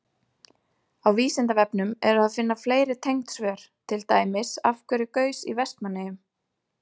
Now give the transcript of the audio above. Á Vísindavefnum er að finna fleiri tengd svör, til dæmis: Af hverju gaus í Vestmannaeyjum?